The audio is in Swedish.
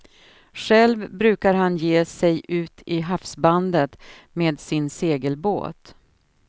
Själv brukar han ge sig ut i havsbandet med sin segelbåt.